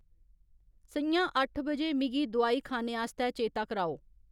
स'ञां अट्ठ बजे मिगी दोआई खाने आस्तै चेता कराओ